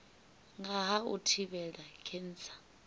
nga ha u thivhela khentsa